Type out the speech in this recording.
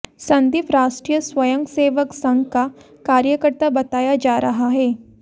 संदीप राष्ट्रीय स्वंय सेवक संघ का कार्यकर्ता बताया जा रहा है